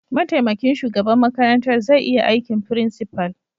Mataimakin shugaban makarantar zai iya aikin principal.